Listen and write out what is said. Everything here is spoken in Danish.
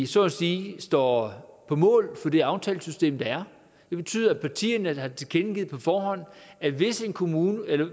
så at sige står på mål for det aftalesystem der er det betyder at partierne på forhånd har tilkendegivet at hvis en kommuneaftale